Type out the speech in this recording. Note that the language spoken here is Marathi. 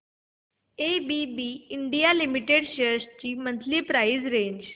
एबीबी इंडिया लिमिटेड शेअर्स ची मंथली प्राइस रेंज